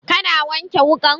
Ka na wanke wukan?